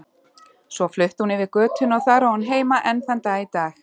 Svo flutti hún yfir götuna og þar á hún heima enn þann dag í dag.